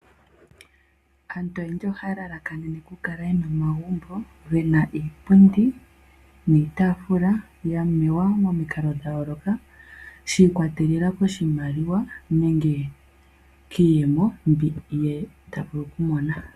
Aantu oyendji ohaya lalakanene okukala ye na omagumbo ge na iipundi niitaafula ya mewa nawa momikalo dha yooloka, shi ikwatelela koshimaliwa nenge kiiyemo mbi ye ta vulu okumona.